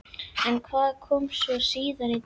En hvað kom svo síðar á daginn?